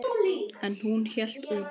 En hún hélt út.